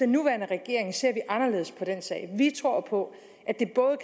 nuværende regering ser vi anderledes på den sag vi tror på